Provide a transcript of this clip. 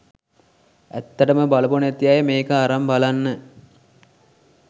ඇත්තටම බලපු නැති අය මේක අරන් බලන්න.